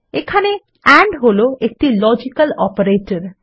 এখানে এন্ড হল একটি লজিক্যাল অপারেটর